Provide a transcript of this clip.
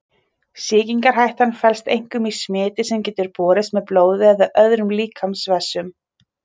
Sýkingarhættan felst einkum í smiti sem getur borist með blóði eða öðrum líkamsvessum.